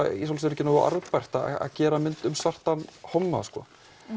ekki nógu arðbært að gera mynd um svartan homma sko